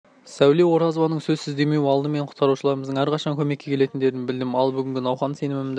сәуле оразованың сөзсіз демеу алды мен құтқарушыларымыздың әрқашан көмекке келетіндерін білдім ал бүгінгі науқан сенімімді